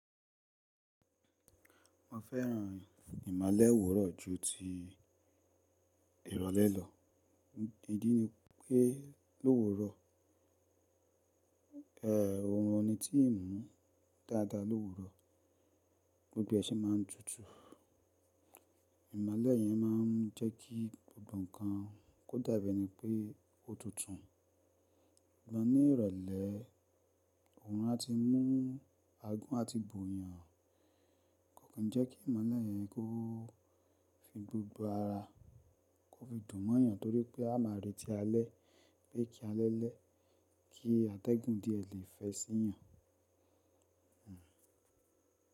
Mo fẹ́ràn ìmolé òwúrọ̀ ju ti ìrọ̀lẹ́ lọ. Ìdí ni pé, lowúrọ̀ òórùn ni tí ń mú dáadáa lowúrọ̀, gbogbo ṣi ma n tutù. Ìmolẹ́ yẹn máa n jẹ́kí gbogbo nkan, kó dàbí ẹni pé ó tutù. Sugbon ní ìrọ̀lẹ́, òórùn a ti mú agún àti bò yàn, kò kí n jẹ́ kí ìmolẹ́ yẹn kó Fi gbogbo ara, kó fi dùn mọ́ yàn torí pé a máa retí alẹ́, pé kí alẹ́ lẹ́, kí atẹ́gùn díẹ̀ lè fẹ́ sí yàn.